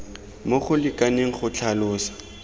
mo go lekaneng go tlhalosa